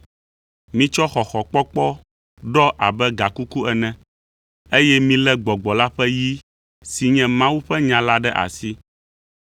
Mitsɔ xɔxɔkpɔkpɔ ɖɔ abe gakuku ene, eye milé Gbɔgbɔ la ƒe yi si nye Mawu ƒe nya la ɖe asi.